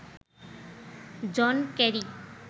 John Kerry